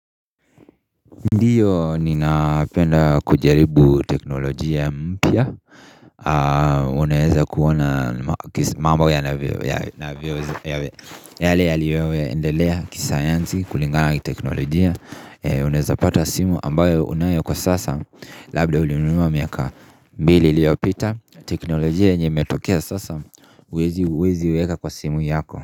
Ndiyo ninapenda kujaribu teknolojia mpya. Unaweza kuona jinsi mambo yanavyo. Yale yale yaliyoendelea kisayansi kulingana kiteknolojia. Uneweza pata simu ambayo unayo kwa sasa. Labda ulinunua miaka mbili liyopita na teknolojia yenye imetokea sasa huwezi huwezi iweka kwa simu yako.